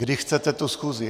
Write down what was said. Kdy chcete tu schůzi?